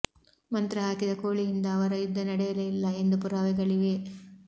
ಮಂತ್ರ ಹಾಕಿದ ಕೋಳಿಯಿಂದ ಅವರ ಯುದ್ಧ ನಡೆಯಲೇ ಇಲ್ಲ ಎಂದು ಪುರಾವೆಗಳಿವೆ